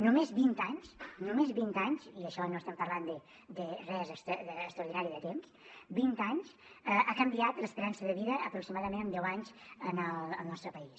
en només vint anys en només vint anys i això no estem parlant de res extraordinari de temps vint anys ha canviat l’esperança de vida aproximadament en deu anys en el nostre país